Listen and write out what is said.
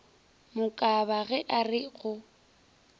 mokaba ge a re go